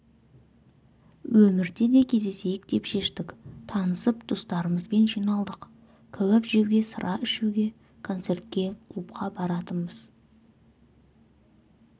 өмірде де кездесейік деп шештік танысып достарымызбен жиналдық кәуап жеуге сыра ішуге концертке клубқа баратынбыз